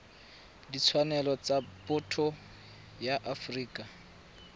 ditshwanelo tsa botho ya afrika